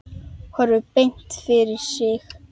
Horfir beint fram fyrir sig.